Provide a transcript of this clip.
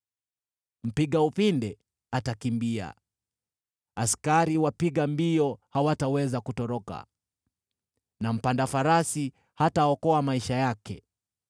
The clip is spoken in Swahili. Mpiga upinde atakimbia, askari wapiga mbio hawataweza kutoroka, na mpanda farasi hataokoa maisha yake.